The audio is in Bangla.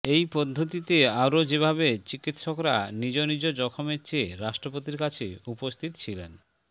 এই পদ্ধতিতে আরও যেভাবে চিকিত্সকরা নিজ নিজ জখমের চেয়ে রাষ্ট্রপতির কাছে উপস্থিত ছিলেন